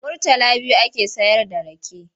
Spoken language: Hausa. Murtala biyu ake sayarda rake.